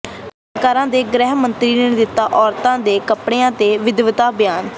ਕਰਨਾਟਕਾਂ ਦੇ ਗ੍ਰਹਿ ਮੰਤਰੀ ਨੇ ਦਿੱਤਾ ਔਰਤਾਂ ਦੇ ਕੱੱਪੜਿਆਂ ਤੇ ਵਿਵਾਦਿਤ ਬਿਆਨ